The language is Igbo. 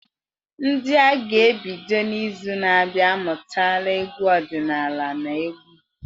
Ndị a ga-ebido n’izu na-abịa amụtala egwu ọdịnala na egwu.